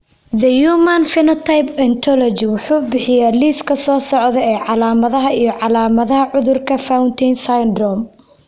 The Human Phenotype Ontology wuxuu bixiyaa liiska soo socda ee calaamadaha iyo calaamadaha cudurka Fountain syndrome.